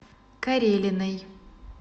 карелиной